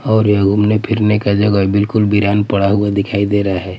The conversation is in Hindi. और यह घूमने फिरने का जगह बिल्कुल विरान पड़ा हुआ दिखाई दे रहा हैं।